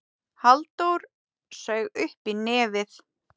Halldór saug upp í nefið.